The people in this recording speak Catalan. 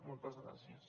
moltes gràcies